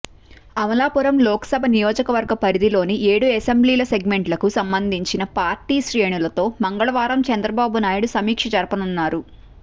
అమలాపురం లోక్సభ నియోజకవర్గ పరిధిలోని ఏడు అసెంబ్లీ సెగ్మెంట్లకు సంబంధించిన పార్టీ శ్రేణులతో మంగళవారం చంద్రబాబునాయుడు సమీక్ష జరపనున్నారు